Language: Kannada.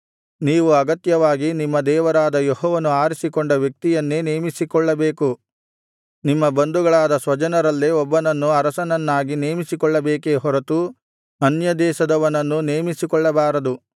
ನೀವು ಅಗತ್ಯವಾಗಿ ನಿಮ್ಮ ದೇವರಾದ ಯೆಹೋವನು ಆರಿಸಿಕೊಂಡ ವ್ಯಕ್ತಿಯನ್ನೇ ನೇಮಿಸಿಕೊಳ್ಳಬೇಕು ನಿಮ್ಮ ಬಂಧುಗಳಾದ ಸ್ವಜನರಲ್ಲೇ ಒಬ್ಬನನ್ನು ಅರಸನನ್ನಾಗಿ ನೇಮಿಸಿಕೊಳ್ಳಬೇಕೇ ಹೊರತು ಅನ್ಯದೇಶದವನನ್ನು ನೇಮಿಸಬಾರದು